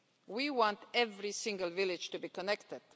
We want every single village to be connected.